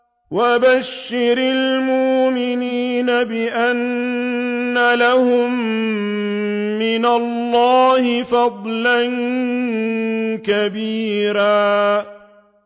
وَبَشِّرِ الْمُؤْمِنِينَ بِأَنَّ لَهُم مِّنَ اللَّهِ فَضْلًا كَبِيرًا